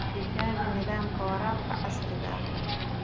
Tijaabi nidaamka waraabka casriga ah.